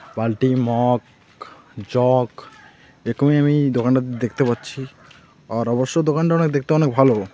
বালটি mug jug এরকমই ওই দোকানটা দেখতে পাচ্ছি আর অবশ্য দোকানটা অনেক দেখতে অনেক ভালো.